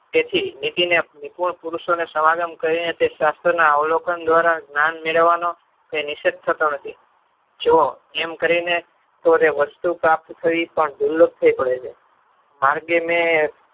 તેથી નીતિને ત્રિકોણ પોરુષોને સવગમ કરીને તે શાસ્ત્રોના અવલોકન દ્વારા જ્ઞાન મેળવનો તે થતો નથી. જો એમ કરીને તો વસ્તુ પ્રાપ્ત થવી પણ